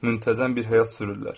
Müntəzəm bir həyat sürürlər.